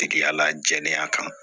Tigiya la jɛn'a kan